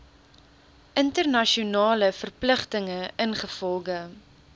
internasionale verpligtinge ingevolge